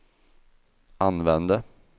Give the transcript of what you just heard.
använde